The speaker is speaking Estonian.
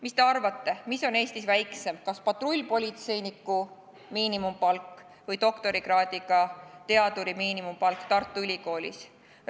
Mis te arvate, mis on Eestis väiksem, kas patrullpolitseiniku miinimumpalk või doktorikraadiga teaduri miinimumpalk Tartu Ülikoolis?